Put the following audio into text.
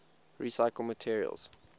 recyclable materials